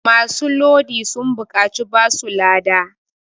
masu Lodi sun buƙaci basu lada